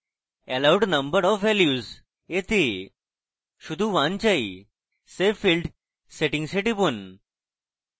allowed number of values we শুধু 1 চাই save field settings we টিপুন